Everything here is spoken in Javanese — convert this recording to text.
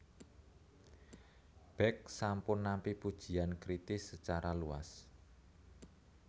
Beck sampun nampi pujian kritis secara luas